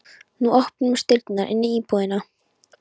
Nú opnuðust dyrnar inn í íbúðina.